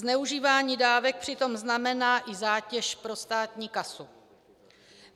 Zneužívání dávek přitom znamená i zátěž pro státní kasu.